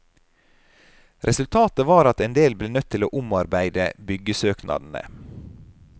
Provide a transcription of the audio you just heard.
Resultatet var at endel ble nødt til å omarbeide byggesøknadene.